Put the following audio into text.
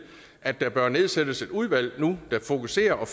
at der bør nedsættes et udvalg nu der fokuserer og